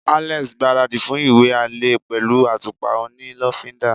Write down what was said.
Alex gbaradi fún iwe ale pẹlu atupa oni lofinda